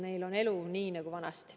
Neil on selline elu nagu vanasti.